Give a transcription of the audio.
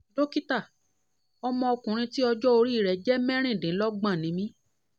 dókítà ọmọ ọkunrin tí ọjọ́ orí rẹ̀ jẹ́ mẹ́rìndínlọ́gbọ̀n ni mí